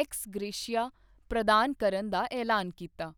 X gratia ਪ੍ਰਦਾਨ ਕਰਨ ਦਾ ਐਲਾਨ ਕੀਤਾ।